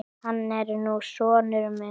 Hann er nú sonur minn.